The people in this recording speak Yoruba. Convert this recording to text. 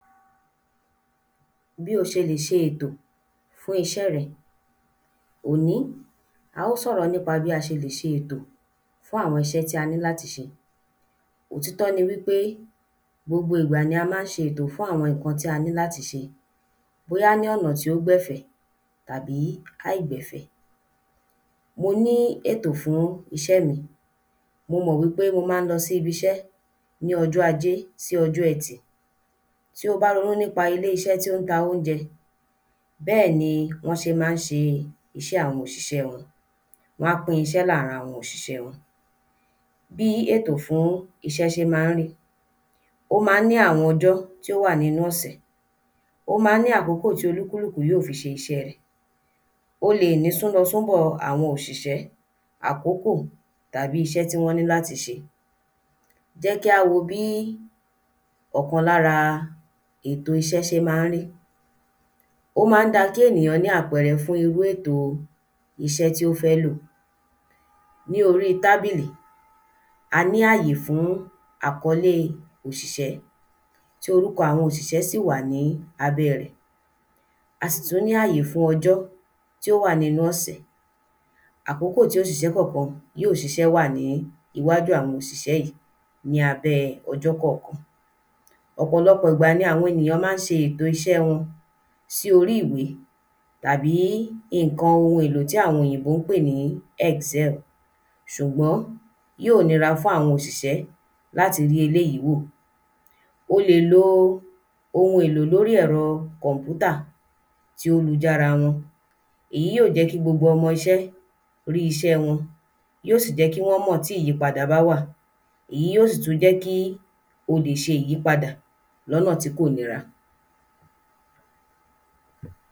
﻿Bí o ṣe lè ṣe ètò fún iṣẹ́ rẹ. Òní, a ó sọ̀rọ̀ nípa bí a ṣe lè ṣe ètò fún àwọn iṣẹ́ tí a ní láti ṣe. Ọ̀títọ́ ni wí pé gbogbo ìgbà ni a má ń ṣe ètò fún àwọn ǹkan tí a ní láti ṣe bóyá ní ọ̀nà tí ó gbẹ̀ fẹ̀ tàbí àìgbẹ̀fẹ̀. Mo ní ètò fún iṣẹ́ mí. Mo mọ̀ wí pé mo má ń lọ sí ibiṣẹ́ ní ọjọ́ ajé sí ọjọ́ ẹtì. Tí o bá ronú nípa ilé iṣẹ́ tí ó ń ta óunjẹ, bẹ́ẹ̀ ni wọ́n ṣé má ń ṣe iṣẹ́ àwọn òṣìṣẹ̀ wọn. Wọ́n pín iṣẹ́ láàrin àwọn òṣìṣé wọn. Bí ètò fún iṣẹ́ ṣé má ń rí. Ó má ní àwọn ọjọ́ tí ó wà nínú ọ̀sẹ̀. Ó má ní àkókò tí olúkúlúkù yí ò fi ṣe iṣẹ́ rẹ̀. O lè ní sún lọ sún bọ̀ àwọn òṣìṣẹ́, àkókò tàbí iṣẹ́ tí wọ́n ní láti ṣe. Jẹ́ kí á wo bí ọ̀kan lára èto iṣẹ́ ṣe má ń rí. Ó má ń da kí ènìyàn ní àpẹẹrẹ fún irú ètò iṣẹ́ tí ó fẹ́ lò. Ní orí tábílì, a ní àyè fún àkólé ọ̀ṣìṣẹ́ tí orúkọ̀ àwọn òṣìṣẹ́ sì wà ní abẹ́ rẹ̀. A sì tú ní àyè fún ọjọ́ tí ó wà nínú ọ̀sẹ̀. Àkókò tí òṣìṣẹ́ kọ̀kan yí ò ṣiṣẹ́ wà ní iwájú àwọn òṣìṣẹ́ yí ní abẹ́ ọjọ́ kọ̀kan. Ọ̀pọ̀lọpọ̀ ìgbà ni àwọn ènìyàn má ń ṣe ètò iṣẹ́ wọn sí orí ìwé tàbí ìnkan ohun èlò tí àwọn òyìnbó ń pè ní ‘Excel’ ṣùgbọ́n yí ò nira fún àwọn òṣìṣẹ́ láti ri eléyí wò. O lè lo ohun èlò lórí ẹ̀rọ kọ̀mpútà tí ó lu jára wọn. Èyí ó jẹ́ kí gbogbo ọmọ iṣẹ́ rí iṣẹ́ wọn. Yí ó sì jẹ́ kí wọ́n mọ̀ tí ìyípada bá wà. Èyí yó sì tú jẹ́ kí o lè ṣ ìyípadà lọ́nà tí kò nira.